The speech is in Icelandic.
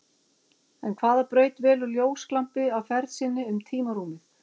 En hvaða braut velur ljósglampi á ferð sinni um tímarúmið?